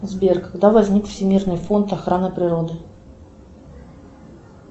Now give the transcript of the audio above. сбер когда возник всемирный фонд охраны природы